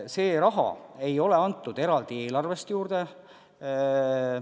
Seda raha ei ole eelarvest eraldi juurde antud.